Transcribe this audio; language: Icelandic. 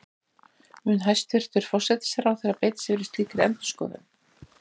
Mun hæstvirtur forsætisráðherra beita sér fyrir slíkri endurskoðun?